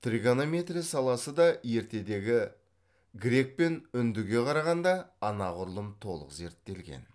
тригонометрия саласы да ертедегі грек пен үндіге қарағанда анағұрлым толық зерттелген